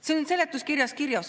See on seletuskirjas kirjas.